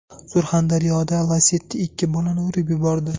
Surxondaryoda Lacetti ikki bolani urib yubordi.